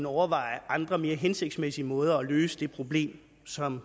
overveje andre og mere hensigtsmæssige måder til at løse det problem som